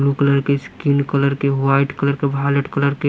blue colour के skin colour के white colour के वालेट कलर के--